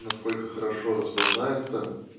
насколько хорошо распознаётся